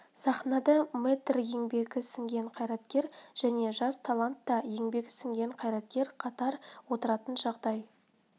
сахнада мэтр еңбегі сіңген қайраткер және жас талант та еңбегі сіңген қайраткер қатар отыратын жағдай